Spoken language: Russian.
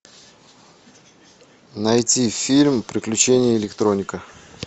найти фильм приключения электроника